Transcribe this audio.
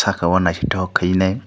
saka o naitotok kai nei.